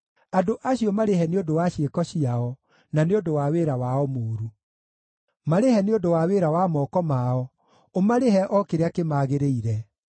Andũ acio marĩhe nĩ ũndũ wa ciĩko ciao, na nĩ ũndũ wa wĩra wao mũũru; marĩhe nĩ ũndũ wa wĩra wa moko mao, ũmarĩhe o kĩrĩa kĩmagĩrĩire.